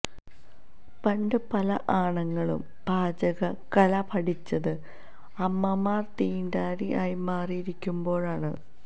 പണ്ട് പല ആണുങ്ങളും പാചക കല പഠിച്ചത് അമ്മമാർ തീണ്ടാരി ആയി മാറി ഇരിക്കുമ്പോഴാണ്